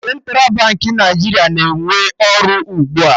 Central Baankị Naijiria na-ewe n'ọrụ ugbua